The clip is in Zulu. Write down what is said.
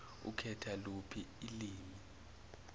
ukhetha luphi ilwimi